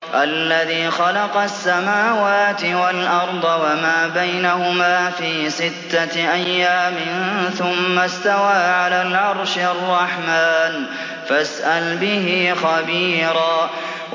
الَّذِي خَلَقَ السَّمَاوَاتِ وَالْأَرْضَ وَمَا بَيْنَهُمَا فِي سِتَّةِ أَيَّامٍ ثُمَّ اسْتَوَىٰ عَلَى الْعَرْشِ ۚ الرَّحْمَٰنُ فَاسْأَلْ بِهِ خَبِيرًا